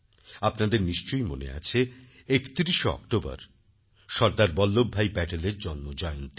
আপনাদের নিশ্চয়ই মনে আছে ৩১ অক্টোবর সরদার বল্লভভাই প্যাটেলের জন্মজয়ন্তী